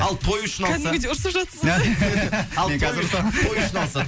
ал той үшін алса кәдімгідей ұрысып жатырсыз ғой